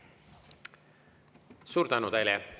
Suur tänu teile!